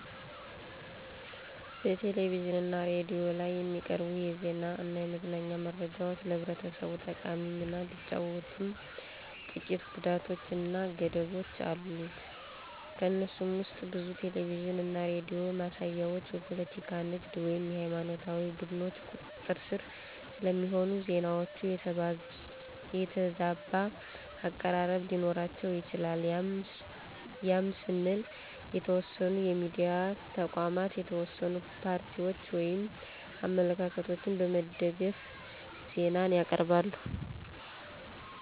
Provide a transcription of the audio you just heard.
በቴሌቪዥን እና ሬዲዮ ላይ የሚቀርቡ የዜና እና የመዝናኛ መረጃዎች ለህብረተሰቡ ጠቃሚ ሚና ቢጫወትም ጥቂት ጉዳቶች እና ገደቦች አሉት። ከነሱም ውስጥ ብዙ ቴሌቪዥን እና ሬዲዮ ማሳያዎች በፖለቲካ፣ ንግድ ወይም ሃይማኖታዊ ቡድኖች ቁጥጥር ስር ስለሚሆኑ፣ ዜናዎቹ የተዛባ አቀራረብ ሊኖራቸው ይችላል ያም ስንል የተወሰኑ የሚዲያ ተቋማት የተወሰኑ ፓርቲዎችን ወይም አመለካከቶችን በመደገፍ ዜናን ያቅርባሉ።